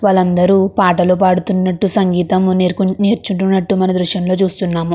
వాళ్ళందరూ పాటలు పాడుతున్నట్టు సంగీతము నేర్పు నేర్చుకున్నట్టు మన దృశ్యం లో చూస్తున్నాము.